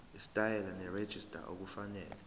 isitayela nerejista okufanele